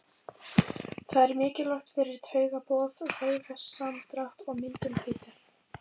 Það er mikilvægt fyrir taugaboð, vöðvasamdrátt og myndun hvítu.